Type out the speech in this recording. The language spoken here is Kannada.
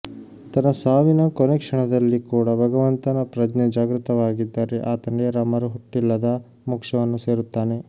ತನ್ನ ಸಾವಿನ ಕೊನೆ ಕ್ಷಣದಲ್ಲಿ ಕೂಡಾ ಭಗವಂತನ ಪ್ರಜ್ಞೆ ಜಾಗೃತವಾಗಿದ್ದರೆ ಆತ ನೇರ ಮರು ಹುಟ್ಟಿಲ್ಲದ ಮೋಕ್ಷವನ್ನು ಸೇರುತ್ತಾನೆ